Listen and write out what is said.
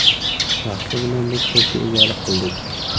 Vaqti bilan biz to‘pga egalik qildik.